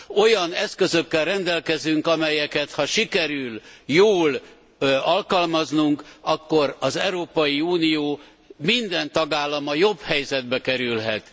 Olyan eszközökkel rendelkezünk, amelyeket ha sikerül jól alkalmaznunk, akkor az Európai Unió minden tagállama jobb helyzetbe kerülhet.